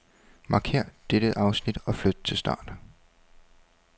Markér dette afsnit og flyt til start.